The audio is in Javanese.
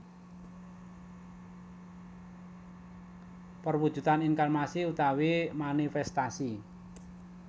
Perwujudan inkarnasi utawi manifestasi